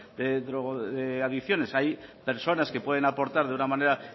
de adicciones hay personas que pueden aportar de una manera